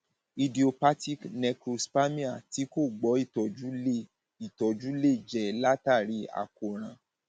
idiopathic necrospermia tí kò gbọ ìtọjú lè ìtọjú lè jẹ látàrí àkóràn